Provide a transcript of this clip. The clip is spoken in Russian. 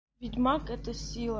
ведь маг это сила